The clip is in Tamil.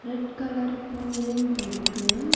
ரெட் கலர் பூவும் இருக்கு.